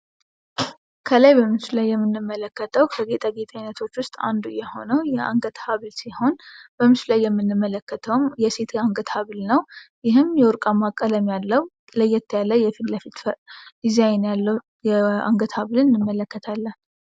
ከላይ በምስሉ ላይ የሚመለከተው ከጌታ ጌት አይነቶች ውስጥ አንዱ የሆነው የአንገት ሲሆን በምስሉ ላይ የምንመለከተው የሴት አንገት ሀብል ነው። የወርቃማ ቀለም ያለው ለየት ያለ የፊትለፊት ዲዛይን ያለው አንገት ሀብልን እንመለከታለን።